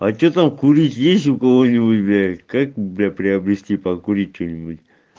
а что там курить есть у кого-нибудь блять как бля приобрести покурить что-нибудь